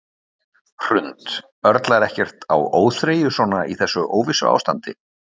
Hrund: Örlar ekkert á óþreyju svona í þessu óvissuástandi?